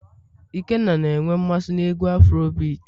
ikenna na enwe mmasị n'egwu afurobeati